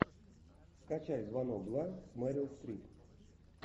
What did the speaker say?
скачай звонок два с мерил стрип